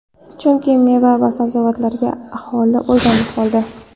Chunki meva va sabzavotlarga aholi o‘rganib qoldi.